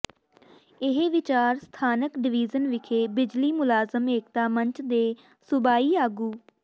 ਇਹ ਵਿਚਾਰ ਸਥਾਨਕ ਡਵੀਜ਼ਨ ਵਿਖੇ ਬਿਜਲੀ ਮੁਲਾਜ਼ਮ ਏਕਤਾ ਮੰਚ ਦੇ ਸੂਬਾਈ ਆਗੂ